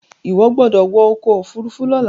iwọ gbódò wọ ọkọ òfurufú lola!